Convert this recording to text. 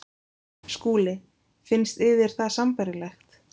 SKÚLI: Finnst yður það sambærilegt?